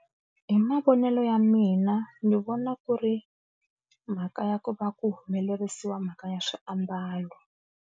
Hi mavonelo ya mina ni vona ku ri mhaka ya ku va ku humelerisiwa mhaka ya swiambalo.